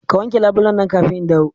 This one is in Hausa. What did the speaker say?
Ka wanke labulen nan kafin in dawo!